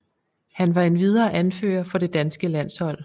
Han var endvidere anfører for det danske landshold